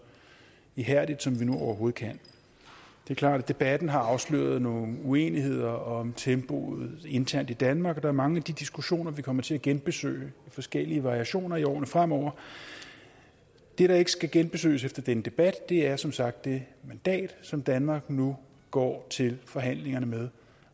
ihærdigt som vi nu overhovedet kan det er klart at debatten har afsløret nogle uenigheder om tempoet internt i danmark og der er mange af de diskussioner vi kommer til at genbesøge i forskellige variationer i årene fremover det der ikke skal genbesøges efter denne debat er som sagt det mandat som danmark nu går til forhandlingerne med